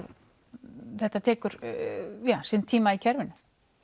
þetta tekur sinn tíma í kerfinu